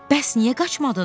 Bəs niyə qaçmadın?